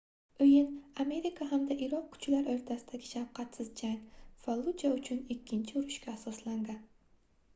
oʻyin amerika hamda iroq kuchlar oʻrtasidagi shafqatsiz jang falluja uchun ikkinchi urushga asoslangan